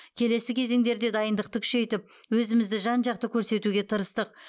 келесі кезеңдерде дайындықты күшейтіп өзімізді жан жақты көрсетуге тырыстық